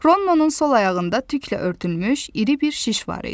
Ronnun sol ayağında tüklə örtülmüş iri bir şiş var idi.